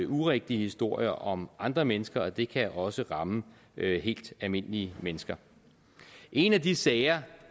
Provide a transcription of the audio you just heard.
urigtige historier om andre mennesker og det kan også ramme helt almindelige mennesker en af de sager